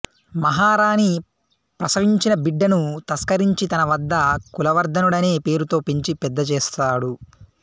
మహారాణి ప్రసవించిన బిడ్డను తస్కరించి తనవద్ద కులవర్ధనుడనే పేరుతో పెంచి పెద్ద చేస్తాడు